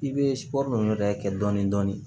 I bɛ ninnu yɛrɛ kɛ dɔɔni dɔɔni